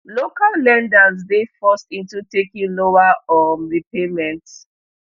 local lenders dey forced into taking lower um repayments